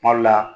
Kuma dɔ la